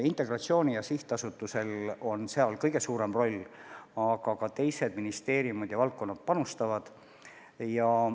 Integratsiooni Sihtasutusel on seal kõige suurem roll, aga ka teised ministeeriumid ja valdkonnad panustavad.